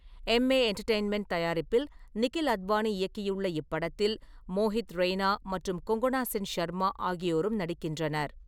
Emmay entertainment தயாரிப்பில் நிகில் அத்வானி இயக்கியுள்ள இப்படத்தில் மோஹித் ரெய்னா மற்றும் கொங்கனா சென் ஷர்மா ஆகியோரும் நடிக்கின்றனர்.